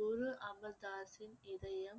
குரு அமர்தாஸின் இதயம்